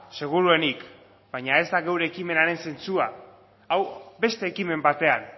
seguruenik baina ez da gure ekimenaren zentzua hau beste ekimen batean